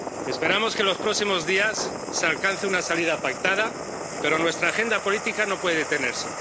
Esperamos que en los próximos días se alcance una salida pactada, pero nuestra agenda política no puede detenerse.